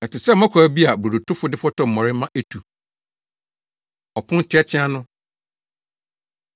Ɛte sɛ mmɔkaw bi a brodotofo de fɔtɔw mmɔre ma etu.” Ɔpon Teateaa No